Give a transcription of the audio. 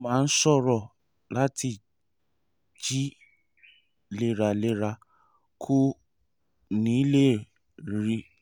ó máa ń ṣòro láti jí léraléra; kò ní lè rìn bó ṣe yẹ